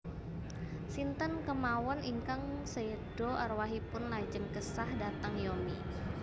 Sinten kemawon ingkang seda arwahipun lajeng kesah dhateng Yomi